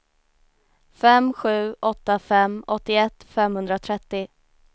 fem sju åtta fem åttioett femhundratrettio